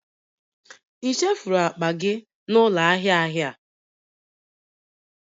Ị chefuru akpa gị n'ụlọ ahịa ahịa?